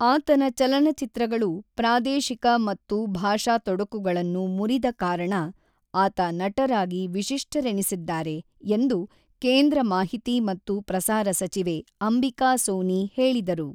ಆತನ ಚಲನಚಿತ್ರಗಳು ಪ್ರಾದೇಶಿಕ ಮತ್ತು ಭಾಷಾ ತೊಡಕುಗಳನ್ನು ಮುರಿದ ಕಾರಣ ಆತ ನಟರಾಗಿ ವಿಶಿಷ್ಟರೆನಿಸಿದ್ದಾರೆ ಎಂದು ಕೇಂದ್ರ ಮಾಹಿತಿ ಮತ್ತು ಪ್ರಸಾರ ಸಚಿವೆ ಅಂಬಿಕಾ ಸೋನಿ ಹೇಳಿದರು.